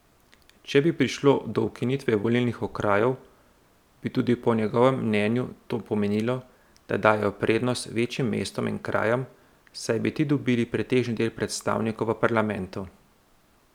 Če bi prišlo do ukinitve volilnih okrajev, bi tudi po njegovem mnenju to pomenilo, da dajejo prednost večjim mestom in krajem, saj bi ti dobili pretežni del predstavnikov v parlamentu.